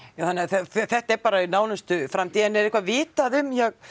já þannig að þetta er bara í nánustu framtíð en er eitthvað vitað um ja